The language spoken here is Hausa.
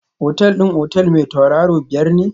Otal din otel mai tauraro biyar ne?